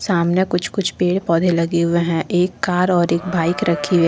सामने कुछ कुछ पेड़ पौधे लगे हुए हैं एक कार और एक बाइक रखी है।